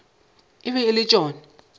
e be e le tšona